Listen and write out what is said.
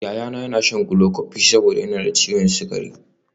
Yayana yana shan glucophage saboda yana da ciwon sukari